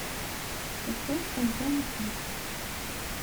поставь альбом эклипс